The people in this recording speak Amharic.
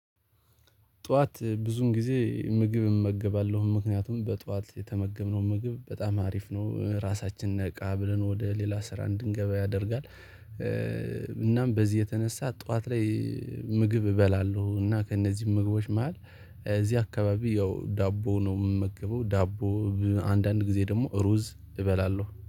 ጠዋት ብዙን ጊዜ ምግብ እመገባለሁ ምክንያቱም በጠዋት የተመገብነው ምግብ በጣም አሪፍ ነው ራሳችን ነቃ ብለን ወደ ሌላ ስራ እንድንገባ ያደርጋል። እናም በዚህ የተነሳ ጠዋት ላይ ምግብ እበላለሁ። እና ከእነዚህ ምግቦች መሃል እዚህ አካባቢ ያው ዳቦ ነው የምመገበው ዳቦ። አንዳንድ ጊዜ ደግሞ ሩዝ እበላለሁ